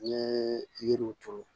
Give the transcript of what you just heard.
N ye yiriw turu